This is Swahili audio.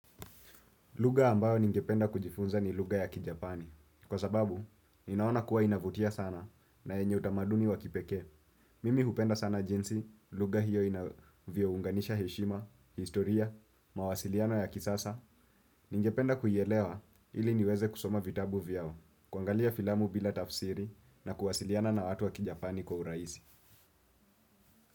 Lugha ambayo ningependa kujifunza ni lugha ya kijapani. Kwa sababu, ninaona kuwa inavutia sana na yenye utamaduni wa kipekee. Mimi hupenda sana jinsi, lugha hiyo inavyounganisha heshima, historia, mawasiliano ya kisasa. Ningependa kuielewa ili niweze kusoma vitabu vyao, kuangalia filamu bila tafsiri na kuwasiliana na watu ya kijapani kwa urahisi.